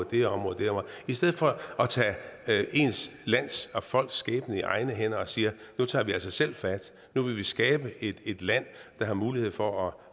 det område i stedet for at tage ens land og folks skæbne i egne hænder og sige nu tager vi altså selv fat nu vil vi skabe et et land der har mulighed for